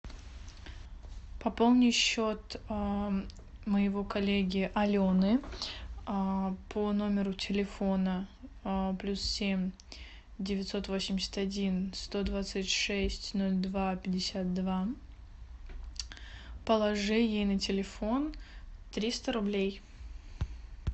пополни счет моего коллеги алены по номеру телефона плюс семь девятьсот восемьдесят один сто двадцать шесть ноль два пятьдесят два положи ей на телефон триста рублей